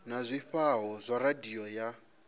na zwifhao zwa radio ya